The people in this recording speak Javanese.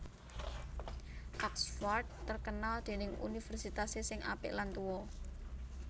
Oxford terkenal dening universitase sing apik lan tuo